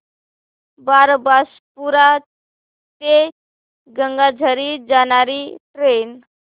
बारबासपुरा ते गंगाझरी जाणारी ट्रेन